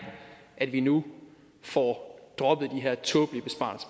at vi nu får droppet de her tåbelige besparelser